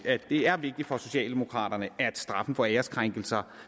at det er vigtigt for socialdemokraterne at straffen for æreskrænkelser